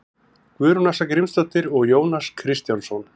guðrún ása grímsdóttir og jónas kristjánsson